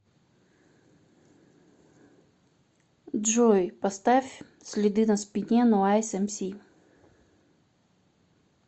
джой поставь следы на спине нойз эмси